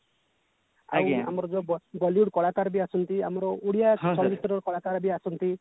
ଆଉ ଆମର ଯୋଉ bollywood କଳା କାର ବି ଆସନ୍ତିଆମର ଓଡିଆ ଚଳ ଚିତ୍ର କଳା କାର ବି ଆସନ୍ତି